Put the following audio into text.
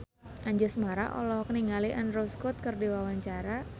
Anjasmara olohok ningali Andrew Scott keur diwawancara